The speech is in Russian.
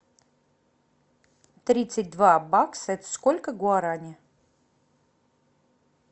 тридцать два бакса это сколько гуарани